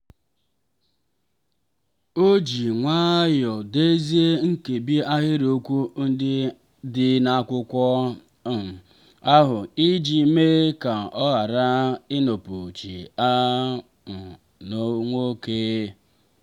o mere ka a mara na aha a dịghị n'akwụkwọ mmalite niile tupu ha enyocha ha iji belata amara ihu.